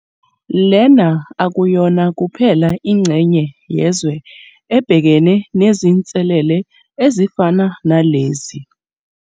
Lena akuyona kuphela ingxenye yezwe ebhekene nezinselele ezifana nalezi.